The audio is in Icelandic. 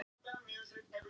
Ég þoli hann ekki.